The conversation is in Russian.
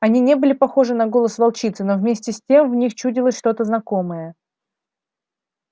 они не были похожи на голос волчицы но вместе с тем в них чудилось что-то знакомое